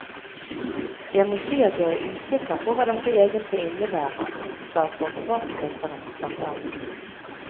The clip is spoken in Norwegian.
Jeg må si at jeg er usikker på hva dette egentlig innebærer, sa forsvarsministeren blant annet.